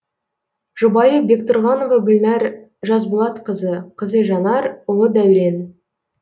жұбайы бектүрғанова гүлнәр жасболатқызы қызы жанар ұлы дәурен